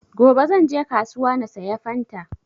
Gobe zan je kasuwa na saya fanta